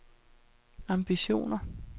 ambitioner